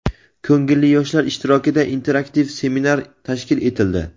ko‘ngilli yoshlar ishtirokida interaktiv seminar tashkil etildi.